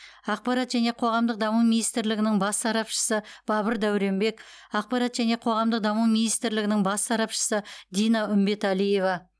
ақпарат және қоғамдық даму министрлігінің бас сарапшысы бабыр дауренбек ақпарат және қоғамдық даму министрлігінің бас сарапшысы дина үмбеталиева